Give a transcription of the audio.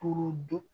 K'o dun